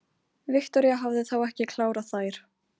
Viktoría hafði þá ekki klárað þær.